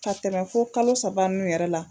Ka tɛmɛ fo kalo saba nunnu yɛrɛ la